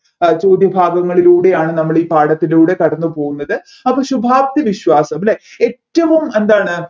അഹ് ചോദ്യഭാഗങ്ങളിലൂടെയാണ് നമ്മളീപാഠത്തിലൂടെ കടന്നു പോകുന്നത് അപ്പൊ ശുഭാപ്തി വിശ്വാസം അല്ലെ ഏറ്റവും എന്താണ്